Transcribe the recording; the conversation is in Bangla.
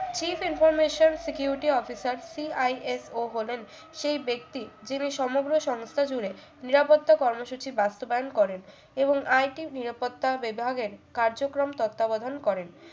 coep information security officer CISO হলেন সেই ব্যক্তি যিনি সমগ্র সংস্থা জুড়ে নিরাপত্তা কর্মসূচি বাস্তবায়ন করেন এবং IT নিরাপত্তা বিভাগের কার্যক্রম তত্ত্বাবধান করেন